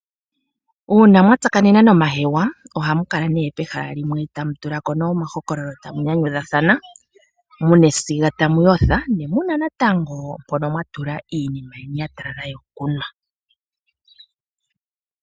uuna mwa tsakanena nomahewa ohamu kala pehala limwe amu tula ko omahokololo tamu nyanyudhathana, mu na esiga tamu yotha, ne mu na natango mpono mwa tula iinima yeni ya talala nawa yokunwa.